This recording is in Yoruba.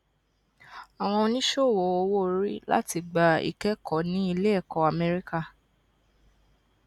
awọn oniṣowo owoori lati gba ikẹkọ ni ileẹkọ amẹrika